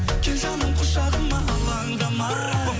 кел жаным құшағыма алаңдамай